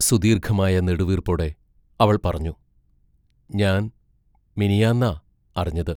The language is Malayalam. സുദീർഘമായ നെടുവീർപ്പോടെ അവൾ പറഞ്ഞു: ഞാൻ മിനിയാന്നാ അറിഞ്ഞത്...